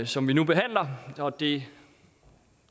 som vi nu behandler det